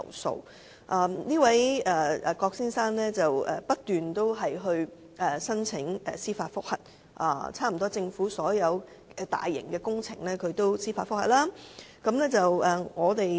這位郭先生不斷申請法援提出司法覆核，差不多政府所有大型工程，他都提出司法覆核。